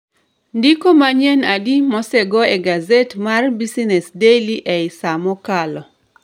Ndiko manyien adi mosego e gaset mar business daily ei sa mokalo